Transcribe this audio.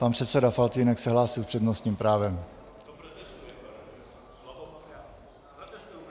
Pan předseda Faltýnek se hlásí s přednostním právem.